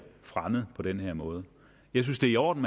fremmet på den her måde jeg synes det er i orden